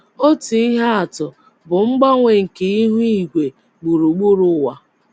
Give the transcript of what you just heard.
Otu ihe atụ bụ mgbanwe nke ihu igwe gburugburu ụwa.